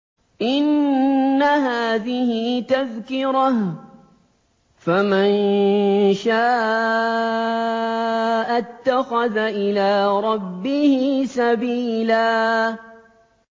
إِنَّ هَٰذِهِ تَذْكِرَةٌ ۖ فَمَن شَاءَ اتَّخَذَ إِلَىٰ رَبِّهِ سَبِيلًا